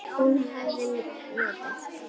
Hún hafi notað